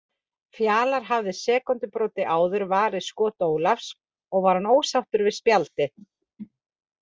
Fjalar hafði sekúndubroti áður varið skot Ólafs og hann var ósáttur við spjaldið.